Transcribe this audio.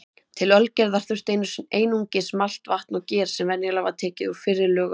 Til ölgerðar þurfti einungis malt, vatn og ger sem venjulega var tekið úr fyrri lögun.